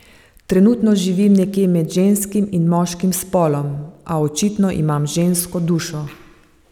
Trenutno živim nekje med ženskim in moškim spolom, a očitno imam žensko dušo.